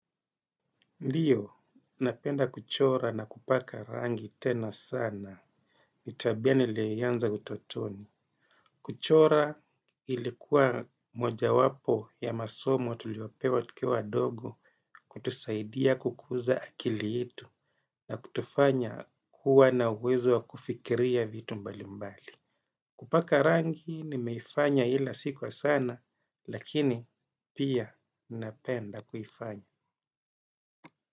Ndiyo, napenda kuchora na kupaka rangi tena sana. Ni tabia nilianza utotoni. Kuchora ilikuwa moja wapo ya masomo tuliopewa tukiwa wadogo. Kutusaidia kukuza akili yetu na kutufanya kuwa na uwezo wa kufikiria vitu mbali mbali. Kupaka rangi nimeifanya ila siku wa sana lakini, pia napenda kuifanya.